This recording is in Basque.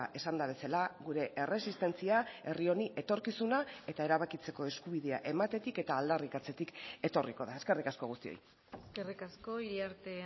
esanda bezala gure erresistentzia herri honi etorkizuna eta erabakitzeko eskubidea ematetik eta aldarrikatzetik etorriko da eskerrik asko guztioi eskerrik asko iriarte